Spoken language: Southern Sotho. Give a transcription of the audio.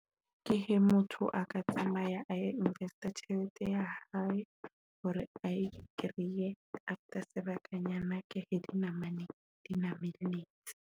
Ke he motho a ka tsamaya a lo invest-a tjhelete ya hae hore ae kreye after sebakanyana ke na mane di mamelletse.